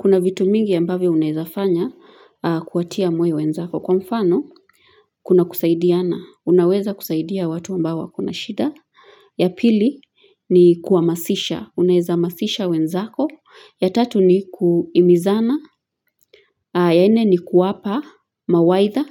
Kuna vitu mingi ambavyo unawezafanya kuwatia moyo wenzako. Kwa mfano, kuna kusaidiana. Unaweza kusaidia watu ambao wako na shida. Ya pili, ni kuamasisha. Unaweza amasisha wenzako. Ya tatu, ni kuhimizana. Ya nne, ni kuwapa mawaidha.